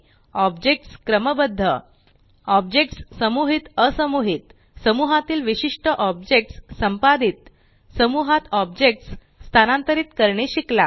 objects क्रमबद्ध objects समुहित असमुहीत समूहातील विशिष्ट ऑब्जेक्ट्स संपादित समूहात ऑब्जेक्ट्स स्थानांतरीत करणे शिकलात